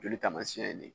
Joli taamasiyɛn ye nin ye